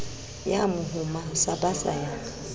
ya mohoma sa basa ya